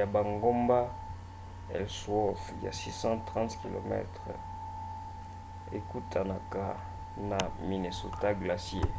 ya bangomba ellsworth ya 360 km ekutanaka na minnesota glacier